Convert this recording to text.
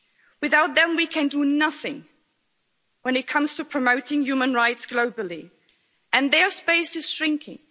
Without them, we can do nothing when it comes to promoting human rights globally, and their space is shrinking.